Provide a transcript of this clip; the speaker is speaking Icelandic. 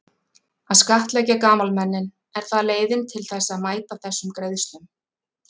Að skattleggja gamalmennin, er það leiðin til þess að mæta þessum greiðslum?